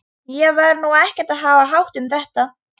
Ég var nú ekkert að hafa hátt um þetta.